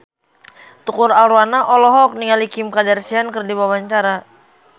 Tukul Arwana olohok ningali Kim Kardashian keur diwawancara